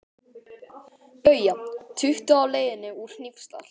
BAUJA: Tuttugu á leiðinni úr Hnífsdal.